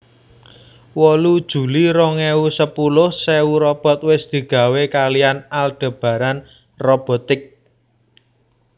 wolu juli rong ewu sepuluh sewu robot wis digawé kaliyan Aldebaran Robotics